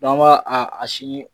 an ba a a si